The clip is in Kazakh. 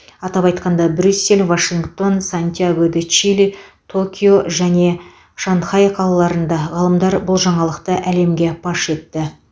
атап айтқанда брюссель вашингтон сантьяго де чили токио және шанхай қалаларында ғалымдар бұл жаңалықты әлемге паш етті